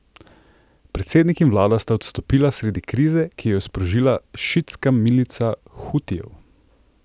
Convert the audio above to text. Predsednik in vlada sta odstopila sredi krize, ki jo je sprožila šiitska milica Hutijev.